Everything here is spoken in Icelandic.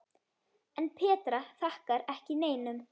En Petra þakkar ekki neinum.